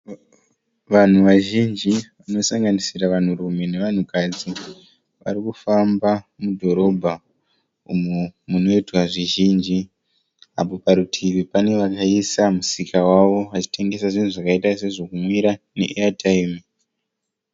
Vanhu vazhinji vanosanganisira vanhurume nevanhukadzi varikufamba mudhorobha umo munoitwa zvizhinji. Apo parutivi pane vakaisa musika wavo vachitengesa zvinhu zvakaita sezvokumwira neeyatayimu.